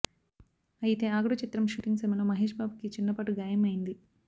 అయితే ఆగడు చిత్రం షూటింగ్ సమయంలో మహేష్ బాబుకి చిన్న పాటు గాయం అయింది